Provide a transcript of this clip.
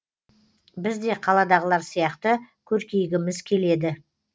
біз де қаладағылар сияқты көркейгіміз келеді